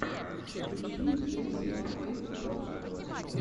включи зе синдикэйт проджект